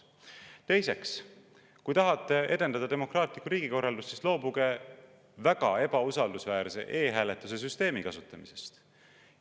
Teiseks, kui te tahate edendada demokraatlikku riigikorraldust, siis loobuge väga ebausaldusväärse e‑hääletuse süsteemi kasutamisest.